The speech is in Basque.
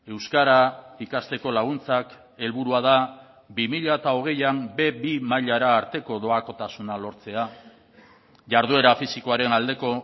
euskara ikasteko laguntzak helburua da bi mila hogeian be bi mailara arteko doakotasuna lortzea jarduera fisikoaren aldeko